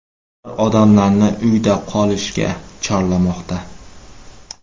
Ular odamlarni uyda qolishga chorlamoqda.